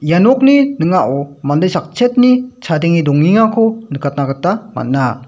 ia nokni ning·ao mande sakchetni chadenge dongengako nikatna gita man·a.